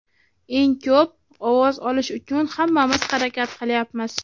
Eng ko‘p ovoz olish uchun hammamiz harakat qilyapmiz.